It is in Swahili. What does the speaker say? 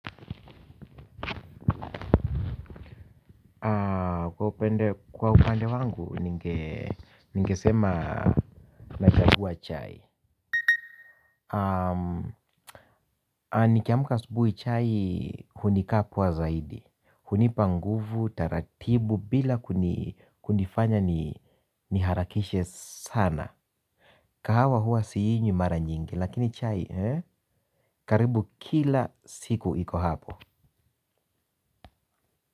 Kwa upande wangu, ningesema nachagua chai. Nikiamka asubuhi chai hunikakwa zaidi, hunipa nguvu taratibu bila kunifanya niharakishe sana. Kahawa huwa siinywi mara nyingi lakini chai karibu kila siku iko hapo.